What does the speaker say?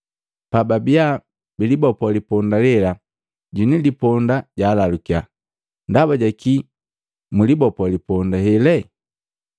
Pababia bilibopo liponda lela, mwini liponda jaalalukya, “Ndaba jaki mu libopo liponda hele?”